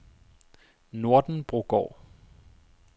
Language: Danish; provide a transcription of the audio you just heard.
Nordenbrogård